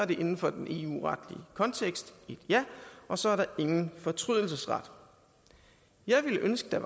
det inden for den eu retlige kontekst et ja og så er der ingen fortrydelsesret jeg ville ønske der